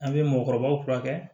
An bɛ mɔgɔkɔrɔbaw furakɛ